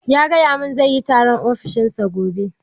Ya gaya mun zaiyi taron a ofishin sa gobe.